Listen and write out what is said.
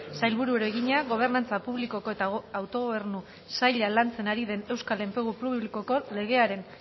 sailburuari egina gobernantza publiko eta autogobernu saila lantzen ari den euskal enplegu publikoko legearen